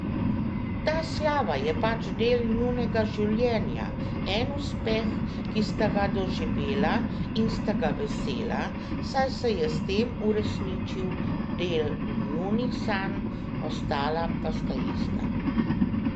Ta slava je pač del njunega življenja, en uspeh, ki sta ga doživela in sta ga vesela, saj se je s tem uresničil del njunih sanj, ostala pa sta ista.